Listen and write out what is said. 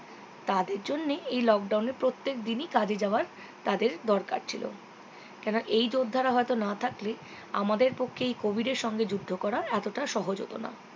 তাদের জন্যে এই lockdown এ প্রত্যেক দিনই কাজে যাওয়ার তাদের দরকার ছিল কেন এই যোদ্ধারা হয়তো না থাকলে আমাদের পক্ষে এই covid এর সঙ্গে যুদ্ধ করা এতটা সহজ হতোনা